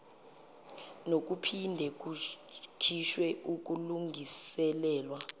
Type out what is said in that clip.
nokuphinde kukhishwe ukulungiselelwa